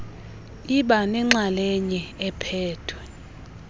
iba nenxalenye ephethwe